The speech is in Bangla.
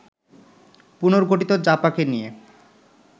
পুনর্গঠিত জাপাকে নিয়ে